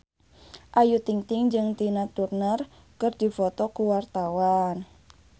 Ayu Ting-ting jeung Tina Turner keur dipoto ku wartawan